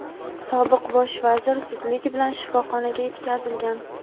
Sobiq Bosh vazir zudlik bilan shifoxonaga yetkazilgan.